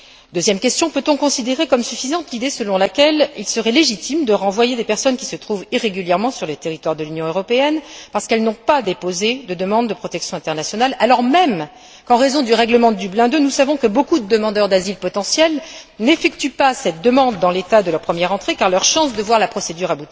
Deuxième question. Peut on considérer comme suffisante l'idée selon laquelle il serait légitime de renvoyer des personnes qui se trouvent irrégulièrement sur le territoire de l'Union européenne parce qu'elles n'ont pas déposé de demande de protection internationale, alors même qu'en raison du règlement Dublin II, nous savons que beaucoup de demandeurs d'asile potentiels n'effectuent pas cette demande dans l'État de leur première entrée car leurs chances de voir la procédure